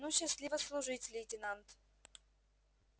ну счастливо служить лейтенант